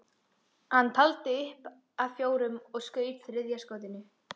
Hann taldi aftur upp að fjórum og skaut þriðja skotinu.